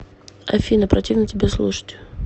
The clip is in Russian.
афина противно тебя слушать